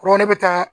Ko ne bɛ taa